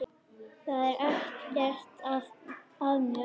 Það er ekkert að mér.